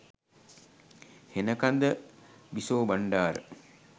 Henakanda Bisobandara